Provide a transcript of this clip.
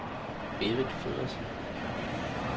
Berit Feddersen